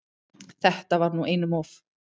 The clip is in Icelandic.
Þetta var nú einum of!